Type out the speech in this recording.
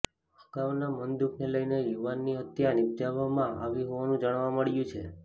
અગાઉના મનદુઃખને લઈને યુવાનની હત્યા નિપજાવવાવામાં આવી હોવાનું જાણવા મળ્યું છે